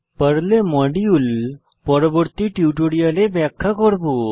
পর্লে মডিউল পরবর্তী টিউটোরিয়ালে ব্যাখ্যা করব